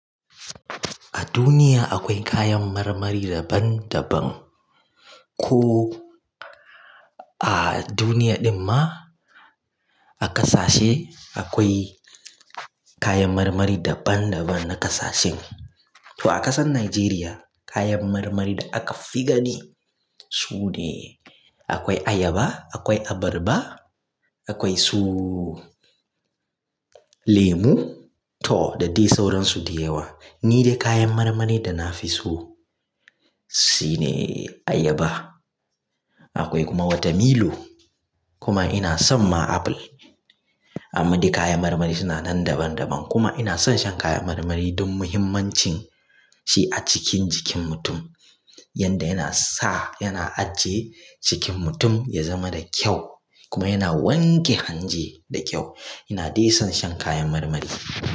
A duniya akwai kayan marmari daban daban. Ko a duniya ɗin ma, a ƙasashe akwai kayan marmari daban daban na ƙasashe. To a ƙasan Najeriya kayan marmari da aka fi gani sune: akwai ayaba, akwai abarba, akwai su lemu to da dai sauransu da yawa. Ni dai kayan marmari da na fi so sune ayaba. Akwai kuma wata milo. Kuma ina son ma apple. Amma dai kayan marmari suna nan daban daban. Kuma ina son shan kayan marmari don muhimmancin shi a cikin jikin mutum. Yanda yana sa, yana ajiye jikin mutum ya zama da kyau kuma yana wanke hanji da kyau. Ina dai son shan kayan marmari.